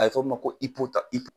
A bɛ fɔ min ma ko